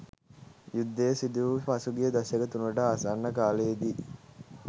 යුද්ධය සිදුවූ පසුගිය දශක තුනකට ආසන්න කාලයේදී